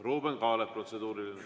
Ruuben Kaalep, protseduuriline.